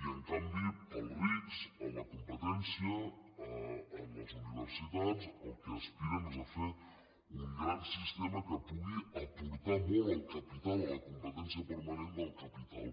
i en canvi per als rics a la competència en les universitats el que aspiren és a fer un gran sistema que pugui aportar molt al capital a la competència permanent del capital